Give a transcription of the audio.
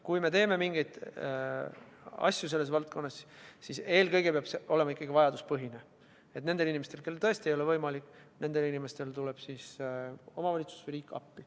Kui me selles valdkonnas midagi teeme, siis peab see olema eelkõige ikkagi vajaduspõhine, nii et nendele inimestele, kellel endal tõesti ei ole võimalik tasuda, tuleb omavalitsus või riik appi.